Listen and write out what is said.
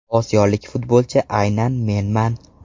Osiyolik futbolchi aynan menman.